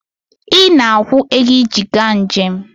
Ị na-akwụ ego iji gaa njem